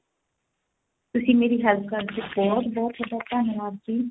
ਤੁਸੀਂ ਮੇਰੀ help ਕੀਤੀ ਬਹੁਤ ਬਹੁਤ ਥੋਡਾ ਧੰਨਵਾਦ ਜੀ